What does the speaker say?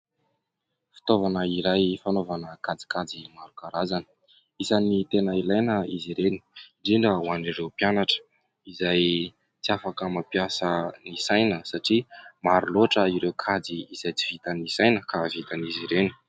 Fitaovana iray fanaovana kajikajy maro karazana. Isany tena ilaina izy ireny indrindra ho an'ireo mpianatra izay tsy afaka mampiasa ny saina satria maro loatra ireo kajy izay tsy vita ny saina ka vitan'izy ireny.